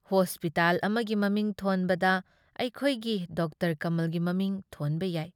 Hospital ꯑꯃꯒꯤ ꯃꯃꯤꯡ ꯊꯣꯟꯕꯗ ꯑꯩꯈꯣꯏꯒꯤ ꯗꯥ. ꯀꯃꯜꯒꯤ ꯃꯃꯤꯡ ꯊꯣꯟꯕ ꯌꯥꯏ ꯫